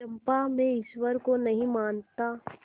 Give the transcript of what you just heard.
चंपा मैं ईश्वर को नहीं मानता